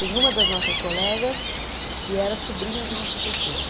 Tem uma das nossas colegas que era sobrinha de uma professora.